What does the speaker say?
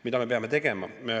Mida me peame tegema?